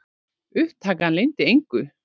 Upptakan leyndi engu.